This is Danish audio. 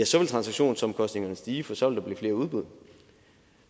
transaktionsomkostningerne stige for så vil der blive flere udbud